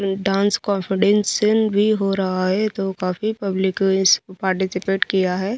Dance कॉन्फिडेंसन भी हो रहा है तो काफी पब्लिकस इस पार्टिसिपेट किया है।